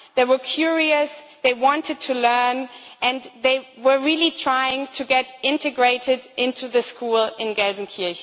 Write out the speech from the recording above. They were curious, they wanted to learn, and they were really trying to get integrated into the school in Gelsenkirchen.